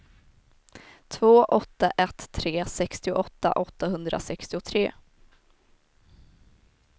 två åtta ett tre sextioåtta åttahundrasextiotre